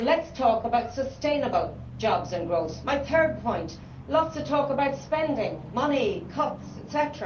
Let us talk about sustainable jobs and growth. My third point let us talk about spending money, cuts, etc.